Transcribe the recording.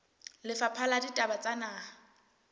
lefapha la ditaba tsa naha